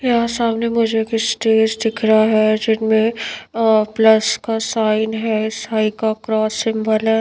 यहाँ सामने मुझे एक स्टेज दिख रहा है जिनमें प्लस का साइन है साईं का क्रॉस सिंबल है।